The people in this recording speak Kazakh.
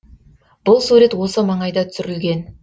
бұл сурет осы маңайда түсірілген